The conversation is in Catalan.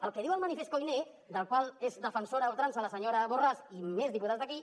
el que diu el manifest koiné del qual és defensora a ultrança la senyora borràs i més diputats d’aquí